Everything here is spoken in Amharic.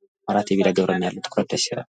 የሚያስችል መሠረታዊ መብት ነው።